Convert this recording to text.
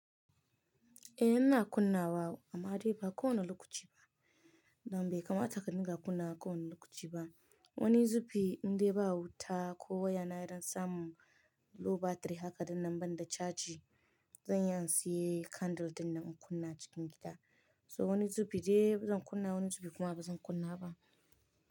Eh ina kunna wa amma dai ba kowane lokaci ba. Nan bai kamata ka dinga kunna kowane lokaci ba. Wani zubi indai ba wuta ko waya na idan samu low battery haka dinnan ban da caji, zan iya in siya candle dinnan in kunna cikin gida. So wani zubi dai zan kunna, wani zubi kuma bazan kunna ba.